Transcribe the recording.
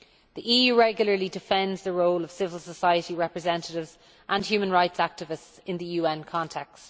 The EU regularly defends the role of civil society representatives and human rights activists in the UN context.